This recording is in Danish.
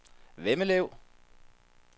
Vemmelev